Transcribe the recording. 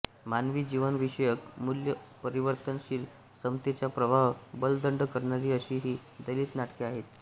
मानवी जीवनविषयक मूल्य परिवर्तनशील समतेचा प्रवाह बलदंड करणारी अशी ही दलित नाटके आहेत